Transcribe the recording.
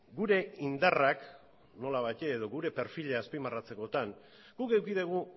gure indarrak nolabait edo gure perfila azpimarratzekotan guk eduki dugu